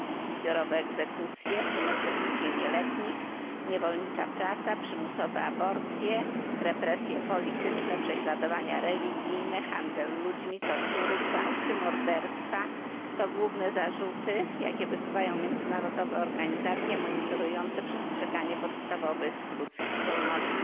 Zbiorowe egzekucje w tym egzekucje nieletnich niewolnicza praca, przymusowe aborcje, represje polityczne, prześladowania religijne, handel ludźmi, tortury, gwałty, morderstwa to główne zarzuty, jakie wysuwają międzynarodowe organizacje monitorujące przestrzeganie podstawowych ludzkich wolności.